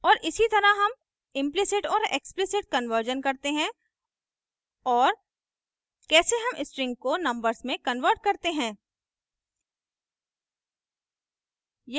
और इसी तरह हम implicit और explicit कन्वर्जन करते हैं और कैसे हम strings को numbers में convert करते हैं